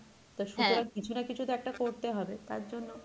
তো সুতরাং কিছু না কিছু তো একটা করতে হবে তার জন্য,